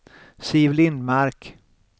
Siv Lindmark